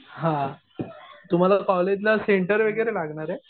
हा. तुम्हाला कॉलेजला सेंटर वगैरे लागणार आहे?